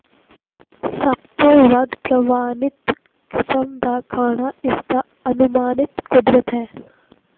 ਸਭ ਤੋਂ ਵੱਧ ਪ੍ਰਵਾਨਿਤ ਕਿਸਮ ਦਾ ਖਾਣਾ ਇਸਦਾ ਅਨੁਮਾਨਿਤ ਕੁਦਰਤ ਹੈ